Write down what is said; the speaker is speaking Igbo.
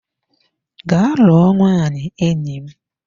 Gaa lụọ nwaanyị enyi m!